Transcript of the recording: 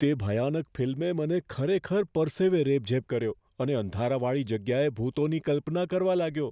તે ભયાનક ફિલ્મે મને ખરેખર પરસેવે રેબઝેબ કર્યો અને અંધારાવાળી જગ્યાએ ભૂતોની કલ્પના કરવા લાગ્યો.